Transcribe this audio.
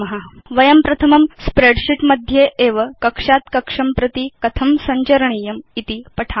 अथ वयं प्रथमं स्प्रेडशीट् मध्ये एव कक्षात् कक्षं प्रति कथं सञ्चरणीयम् इति पठिष्याम